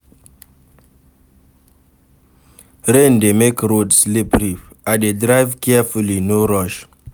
Rain dey make road slippery, I dey drive carefully, no rush.